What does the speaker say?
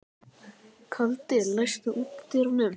Kaldi, læstu útidyrunum.